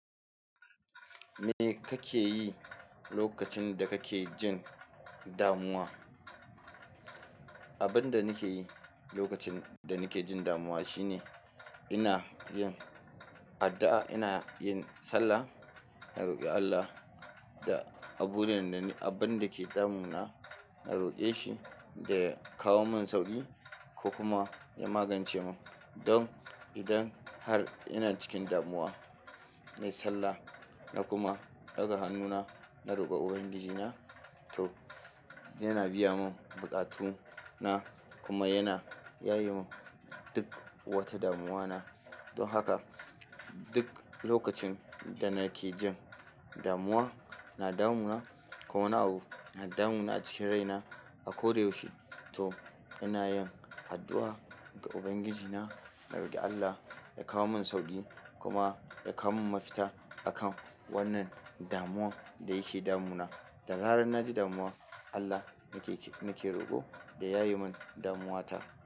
Me kake yi lokacin da kake jin damuwa? Abin da nake yi lokacin da nake jin damuwa shine ina yin addu'a, ina yin sallah, na roƙi Allah da abun da yake damuna na roƙe shi da ya kawo min sauƙi ko kuma ya magance mun don idan har ina cikin damuwa, na yi sallah na kuma ɗaga hannuna, na roƙa Ubangijina to yana biya mun buƙatu na kuma yana yaye mun duk wata damuwa na. Don haka duk lokacin da nake jin damuwa na damuna ko na abu, na damu na cikin rai na a ko da yaushe, to ina yin addu'a ga Ubangijina, na roƙi Allah ya kawo min sauƙi kuma ya kawo min mafita akan wannan damuwar da yake damu na. Da zarar na ji damuwa, Allah nake, nake roƙo da ya yaye min damuwa ta.